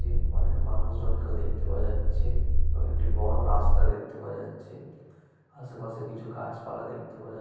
তে অনেক মানুষজনকেও দেখতে পাওয়া যাচ্ছে এবং একটি বড় রাস্তা দেখতে পাওয়া যাচ্ছে আশেপাশে কিছু গাছপালা দেখতে পাওয়া যা--